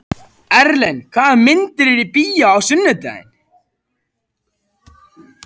Erlen, hvaða myndir eru í bíó á sunnudaginn?